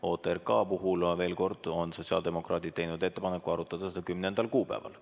OTRK puhul, veel kord ütlen, on sotsiaaldemokraadid teinud ettepaneku arutada seda 10. kuupäeval.